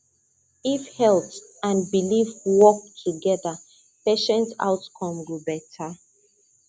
if health and belief work together patient outcome go better